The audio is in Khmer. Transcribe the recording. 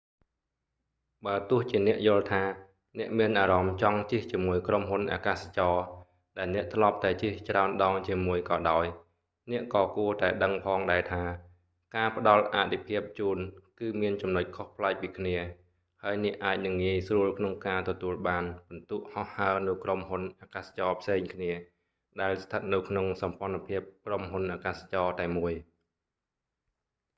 បើទោះជាអ្នកយល់ថា អ្នកមានអារម្មណ៍ចង់ជិះជាមួយក្រុមហ៊ុនអាកាសចរណ៍ ដែលអ្នកធ្លាប់តែជិះច្រើនដងជាមួយក៏ដោយ អ្នកក៏គួរតែដឹងផងដែរថា ការផ្តល់អទិភាពជូន គឺមានចំណុចខុសប្លែកពីគ្នា ហើយអ្នកអាចនឹងងាយស្រួលក្នុងការទទួលបានពិន្ទុហោះហើរនៅក្រុមហ៊ុនអាកាសចរណ៍ផ្សេងគ្នា ដែលស្ថិតនៅក្នុងសម្ព័ន្ធភាពក្រុមហ៊ុនអាកាសចរណ៍តែមួយ